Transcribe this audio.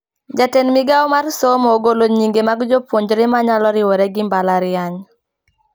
Jatend migao mar somo ogolo nyinge mag jopuonjre manyalo riure gi mbalariany